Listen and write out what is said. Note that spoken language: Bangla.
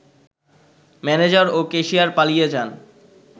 ম্যানেজার ও ক্যাশিয়ার পালিয়ে যান